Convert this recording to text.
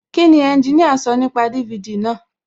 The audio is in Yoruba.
Kíni ẹnjiníà sọ nípa DVD náà?